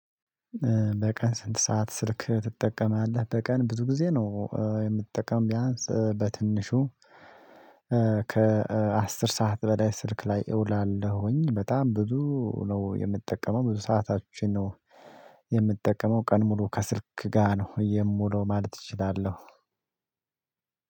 በቀን ስንት ሰዓት ስልክ ትጠቀማለህ? በቀን ብዙ ጊዜ ነው የምትጠቀመው ቢያንስ በትንሹ ከአስር ሰዓት በላይ ስልክ ላይ እውላለሁኝ። በጣም ብዙ ነው የምትጠቀመው ብዙ ሰዓታችን ነው። የምትጠቀመው ቀን ሙሉ ከስልክ ጋር ነው የምውለው ማለት እችላለሁ።